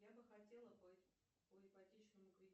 я бы хотела по ипотечному кредиту